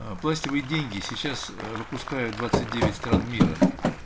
а пластиковые деньги сейчас выпускают двадцать девять стран мира